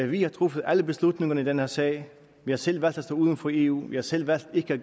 vi har truffet alle beslutningerne i den her sag vi har selv valgt at stå uden for eu vi har selv valgt ikke at